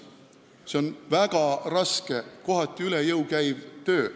See on väga raske, kohati üle jõu käiv töö.